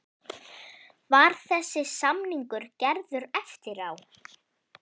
Var þessi samningur gerður eftir á?